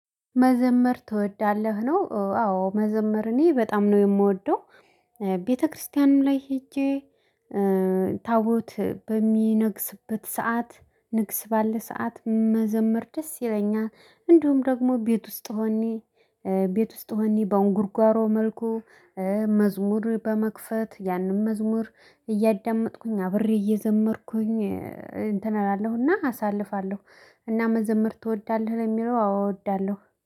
መዘመር ትወዳለህ ነው አዎ መዘመር እኔ በጣም ነው የምወደው። ቤተክርስቲያንም ላይ ሄጄ ታቦት በሚነግስበት ሰዓት ንግስ ባለ ሰዓት መዘመር ደስ ይለኛል። እንደውም ደግሞ ቤት ውስጥ ሆኜ ቤት ውስጥ ሆኜ በአንጉርጓሮ መልኩ። መዝሙር በመክፈት ያንን መዝሙር እያዳመጥኩኝ አብሬ እየዘመርኩኝ እንትን አላለሁና አሳልፋለሁ። እና መዘምር ትወዳለህ ለሚለው አዎ እወዳለሁ